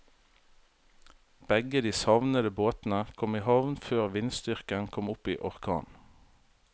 Begge de savnede båtene kom i havn før vindstyrken kom opp i orkan.